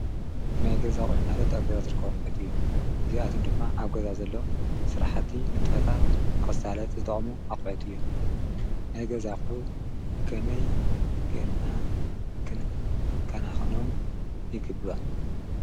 ናይገዛ ኣቁሑ ማለት ኣብ ገዛ ዝርከቡ ኣቁሑ እዮም። እዚኣቶም ድማ ኣብ ገዛ ዘሎ ስራሕት ንጥፈታት ንክሳለጥ ዝጠቅሙ ኣቁሑት እዮም::ናይ ገዛ ኣቁሑ ከመይ ጌርና ክንከናከኖም ይግባእ?